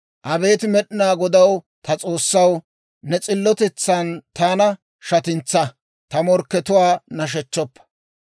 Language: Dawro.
Abeet Med'inaa Godaw, ta S'oossaw, ne s'illotetsan taana shatintsaa; ta morkkatuwaa nashechchoppa.